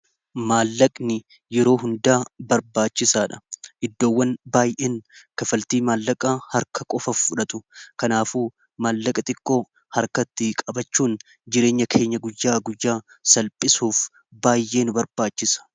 Maallaqni yeroo hundaa barbaachisaa dha. Iddoowwan baay'een kafaltii maallaqaa harka qofa fudhatu kanaafu maallaqa xiqqoo harkatti qabachuun jireenya keenya guyyaa guyyaa salphisuuf baayyee nu barbaachisa.